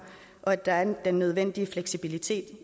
og at der er den nødvendige fleksibilitet